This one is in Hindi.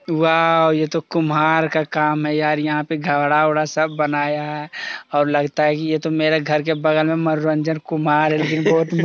वॉव यह तो कुमार का काम है यार घड़ा-वडा सब बनाया है और लगता है यह मेरे घर के बगल मनुरंजन कुमार है।